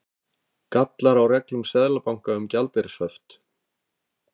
Gallar á reglum Seðlabanka um gjaldeyrishöft